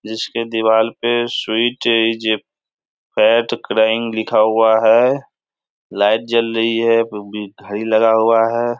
जिसके दीवार पर स्वीट्स पेट क्राइंग लिखा हुआ है लाइट जल रही है ऊपर भी घड़ी लगा हुआ है।